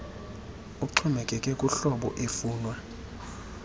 uxhomekeke kuhlobo efunwa